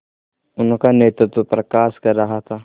उनका नेतृत्व प्रकाश कर रहा था